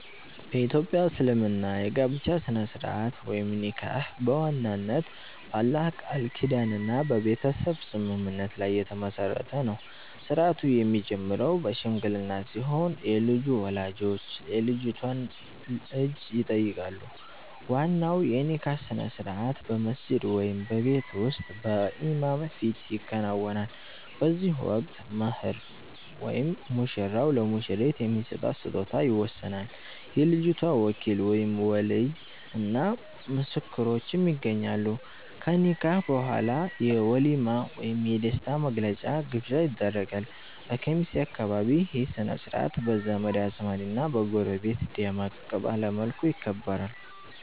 በ ኢትዮጵያ እስልምና የጋብቻ ሥነ-ሥርዓት (ኒካህ) በዋናነት በአላህ ቃል ኪዳንና በቤተሰብ ስምምነት ላይ የተመሠረተ ነው። ሥርዓቱ የሚጀምረው በሽምግልና ሲሆን፣ የልጁ ወላጆች የልጅቷን እጅ ይጠይቃሉ። ዋናው የኒካህ ሥነ-ሥርዓት በመስጂድ ወይም በቤት ውስጥ በኢማም ፊት ይከናወናል። በዚህ ወቅት "መህር" (ሙሽራው ለሙሽሪት የሚሰጣት ስጦታ) ይወሰናል፤ የልጅቷ ወኪል (ወሊይ) እና ምስክሮችም ይገኛሉ። ከኒካህ በኋላ የ"ወሊማ" ወይም የደስታ መግለጫ ግብዣ ይደረጋል። በኬሚሴ አካባቢ ይህ ሥነ-ሥርዓት በዘመድ አዝማድና በጎረቤት ደመቅ ባለ መልኩ ይከበራል።